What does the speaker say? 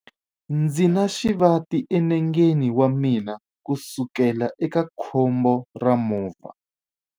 Ndzi na xivati enengeni wa mina kusukela eka khombo ra movha.